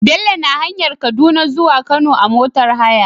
Bello na hanyar kaduna zuwa kano a motar haya